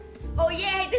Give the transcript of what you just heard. ég heiti